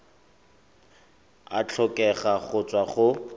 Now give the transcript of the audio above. a tlhokega go tswa go